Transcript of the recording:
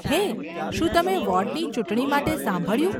હે, શું તમે વોર્ડની ચૂંટણી માટે સાંભળ્યું?